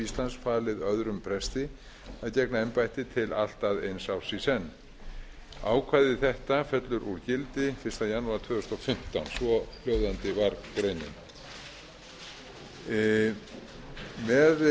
íslands falið öðrum presti að gegna embættinu til allt að eins árs í senn ákvæði þetta fellur úr gildi fyrsta janúar tvö þúsund og fimmtán svohljóðandi var greinin með